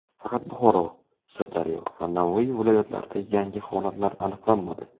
Faqat Buxoro, Sirdaryo va Navoiy viloyatlarida yangi holatlar aniqlanmadi.